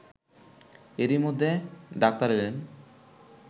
এরই মধ্যে ডাক্তার এলেন